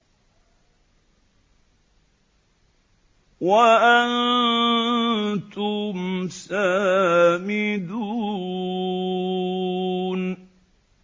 وَأَنتُمْ سَامِدُونَ